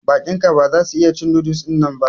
Baƙin ka ba za su iya cin noodles dinnan ba.